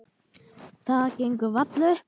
Það gengur varla upp.